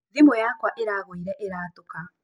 Thimu yakwa ĩragũire ĩratũka.